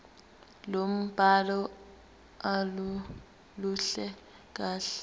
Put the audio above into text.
lombhalo aluluhle kahle